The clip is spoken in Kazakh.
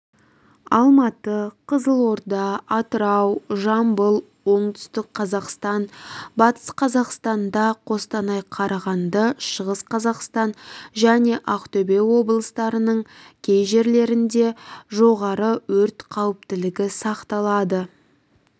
алматы қызылорда атырау жамбыл оңтүстік қазақстан батыс қазақстанда қостанай қарағанды шығыс қазақстан және ақтөбе облыстарының кей жерлерінде жоғары өрт қауіптілігі сақталады